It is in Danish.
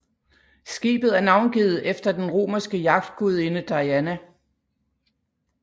Skibet er navngivet efter den romerske jagtgudinde Diana